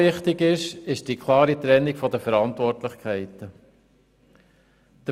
Vor allem ist die klare Trennung der Verantwortlichkeiten wichtig.